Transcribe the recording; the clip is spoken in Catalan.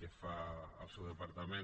que fa el seu departament